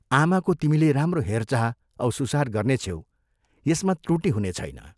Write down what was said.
आमाको तिमीले राम्रो हेरचाह औ सुसार गर्नेछ्यौ यसमा त्रुटि हुनेछैन।